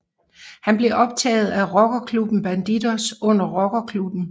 Han blev optaget af rockerklubben Bandidos under rockerkrigen